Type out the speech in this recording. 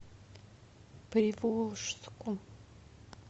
приволжску